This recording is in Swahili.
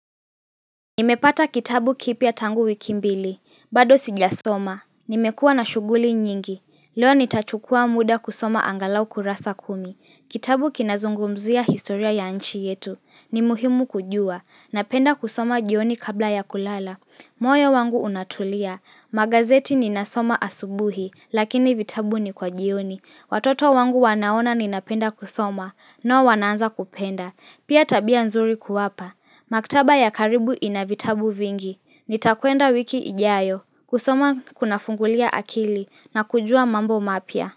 Nimepata kitabu kipya tangu wiki mbili. Bado sijasoma. Nimekuwa na shughuli nyingi. Leo nitachukua muda kusoma angalau kurasa kumi. Kitabu kinazungumzia historia ya nchi yetu. Ni muhimu kujua. Napenda kusoma jioni kabla ya kulala. Moyo wangu unatulia, magazeti ninasoma asubuhi lakini vitabu ni kwa jioni. Watoto wangu wanaona ninapenda kusoma, nao wanaanza kupenda. Pia tabia nzuri kuwapa. Maktaba ya karibu inavitabu vingi. Nitakwenda wiki ijayo, kusoma kunafungulia akili na kujua mambo mapya.